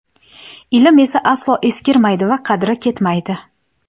ilm esa aslo eskirmaydi va qadri ketmaydi;.